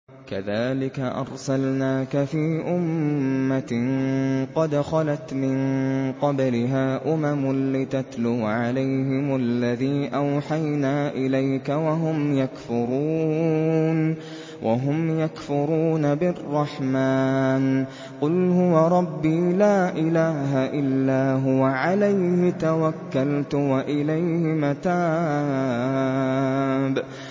كَذَٰلِكَ أَرْسَلْنَاكَ فِي أُمَّةٍ قَدْ خَلَتْ مِن قَبْلِهَا أُمَمٌ لِّتَتْلُوَ عَلَيْهِمُ الَّذِي أَوْحَيْنَا إِلَيْكَ وَهُمْ يَكْفُرُونَ بِالرَّحْمَٰنِ ۚ قُلْ هُوَ رَبِّي لَا إِلَٰهَ إِلَّا هُوَ عَلَيْهِ تَوَكَّلْتُ وَإِلَيْهِ مَتَابِ